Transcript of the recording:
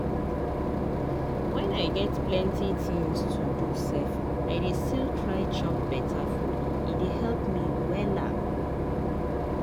when i get plenty things to do sef i dey still try chop beta food e dey help me wella.